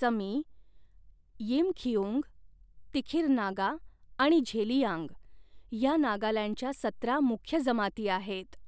समी, यिमखिउंग, तिखिर नागा आणि झेलियांग, ह्या नागालँडच्या सतरा मुख्य जमाती आहेत.